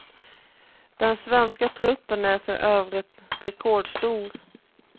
Den svenska truppen är för övrigt rekordstor.